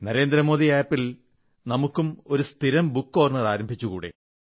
Narendra Modi app ൽ നമുക്ക് ഒരു സ്ഥിരം ബുക്ക്് കോർണർ ആരംഭിച്ചുകൂടേ